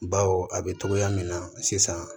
Baw a bɛ togoya min na sisan